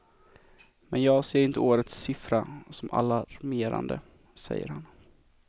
Men jag ser inte årets siffra som alarmerande, säger han.